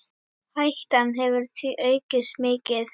Hættan hefur því aukist mikið.